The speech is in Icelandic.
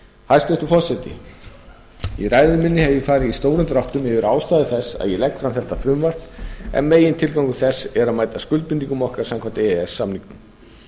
hæstvirtur forseti í ræðu minni hef ég farið í stórum dráttum yfir ástæður þess að ég legg fram þetta frumvarp en megintilgangur þess er að mæta skuldbindingum okkar samkvæmt e e s samningnum